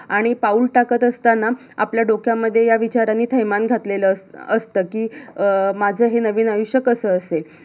आणि पाऊल टाकत असतांना आपल्या डोक्यामध्ये या विचारांनी थैमान घातलेल अस~असत कि, माझ हे नवीन आयुष्य कस असेल?